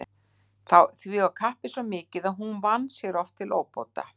Því var kappið svo mikið að hún vann sér oft til óbóta.